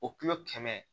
O kilo kɛmɛ